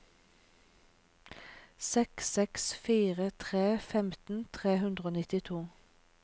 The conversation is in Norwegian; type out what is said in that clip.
seks seks fire tre femten tre hundre og nittito